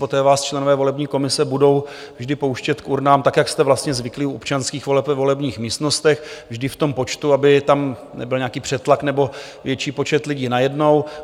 Poté vás členové volební komise budou vždy pouštět k urnám tak, jak jste vlastně zvyklí u občanských voleb ve volebních místnostech, vždy v tom počtu, aby tam nebyl nějaký přetlak nebo větší počet lidí najednou.